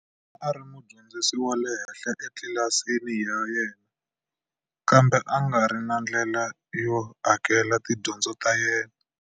A ri mudyondzi wa le henhla etlilasini ya yena, kambe a ngari na ndlela yo hakelela tidyondzo ta yena.